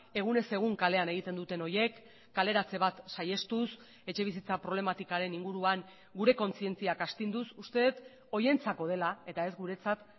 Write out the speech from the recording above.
egunez egun kalean egiten duten horiek kaleratze bat saihestuz etxebizitza problematikaren inguruan gure kontzientziak astinduz uste dut horientzako dela eta ez guretzat